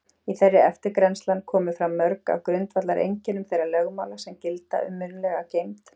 Í þeirri eftirgrennslan komu fram mörg af grundvallareinkennum þeirra lögmála sem gilda um munnlega geymd.